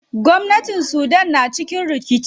Gwamnatin sudan na cikin rikici.